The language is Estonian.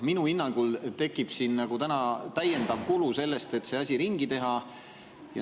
Minu hinnangul tekib täiendav kulu, kui see asi ringi teha.